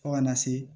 Fo kana se